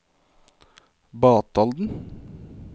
Batalden